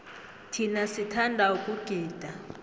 thina sithanda ukugida